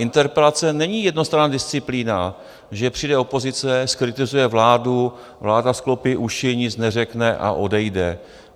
Interpelace není jednostranná disciplína, že přijde opozice, zkritizuje vládu, vláda sklopí uši, nic neřekne a odejde.